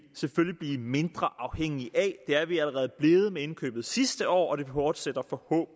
selvfølgelig blive mindre afhængige af det er vi allerede blevet med indkøbet sidste år og det fortsætter